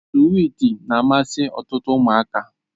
Swiiti na-amasị ọtụtụ ụmụaka.